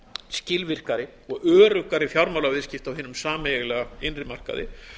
skilvirkari og öruggari fjármálaviðskipti á hinum sameiginlega innri markaði